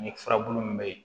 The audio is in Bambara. Ni furabulu min bɛ yen